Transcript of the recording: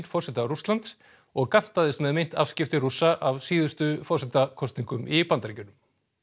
forseta Rússlands og gantaðist með meint afskipti Rússa af síðustu forsetakosningum í Bandaríkjunum